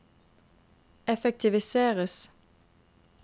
effektiviseres